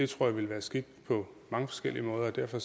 tror det ville være skidt på mange forskellige måder og derfor